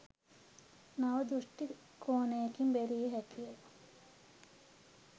නව දෘෂ්ටි කෝණයකින් බැලිය හැකිය